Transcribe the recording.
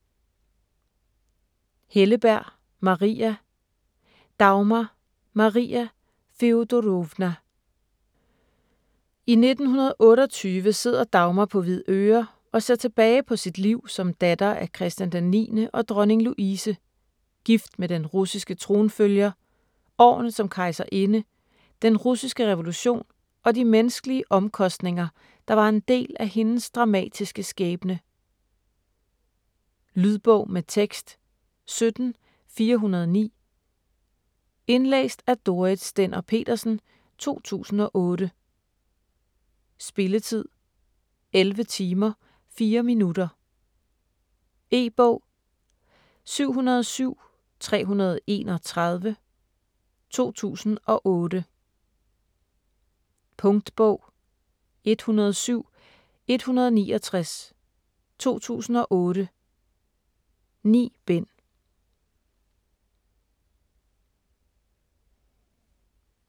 Helleberg, Maria: Dagmar: Maria Feodorovna I 1928 sidder Dagmar på Hvidøre og ser tilbage på sit liv som datter af Christian IX og dronning Louise, gift med den russiske tronfølger, årene som kejserinde, den russiske revolution og de menneskelige omkostninger, der var en del af hendes dramatiske skæbne. Lydbog med tekst 17409 Indlæst af Dorrit Stender-Petersen, 2008. Spilletid: 11 timer, 4 minutter. E-bog 707331 2008. Punktbog 107169 2008. 9 bind.